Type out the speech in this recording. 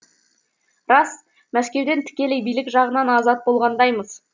рас мәскеуден тікелей билік жағынан азат болғандаймыз